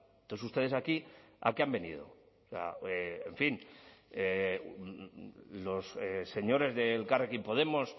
entonces ustedes aquí a qué han venido en fin los señores de elkarrekin podemos